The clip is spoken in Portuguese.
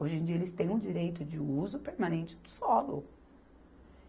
Hoje em dia eles têm o direito de uso permanente do solo.